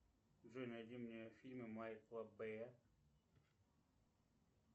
джой найди мне фильмы майкла бэя